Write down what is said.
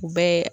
U bɛɛ ye